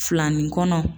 Filanin kɔnɔ